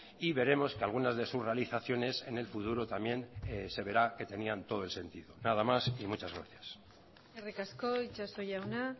y veremos que algunas de sus realizaciones en el futuro también se verá que tenían todo el sentido nada más y muchas gracias eskerrik asko itxaso jauna